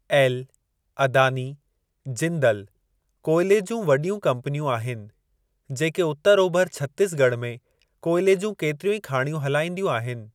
L, Adani, Jindal कोयले जूं वॾियूं कंपनियूं आहिनि, जेके उतर ओभर छतीसगढ़ में कोयले जूं केतिरियूं ई खाणियूं हलाईंदियूं आहिनि।